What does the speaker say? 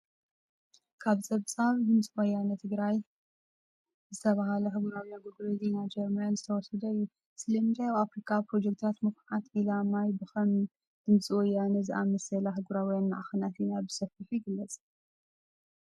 ካብ ጸብጻብ DW ዝተባህለ ኣህጉራዊ ኣገልግሎት ዜና ጀርመን ዝተወስደ እዩ። ስለምንታይ ኣብ ኣፍሪቃ ፕሮጀክትታት ምኹዓት ዒላ ማይ ብከም DW ዝኣመሰላ ኣህጉራውያን ማዕከናት ዜና ብሰፊሑ ይግለጽ?